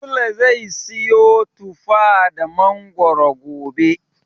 Sule zai siyo tufa da mangoro gobe.